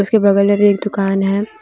उसके बगल में भी एक दुकान है ।